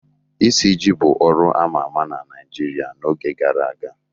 Isiji bụ ọrụ a ma ama na Naijiria n'oge gara aga.